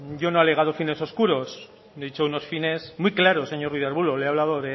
yo no he alegado fines oscuros he dicho unos fines muy claros señor ruiz de arbulo le he hablado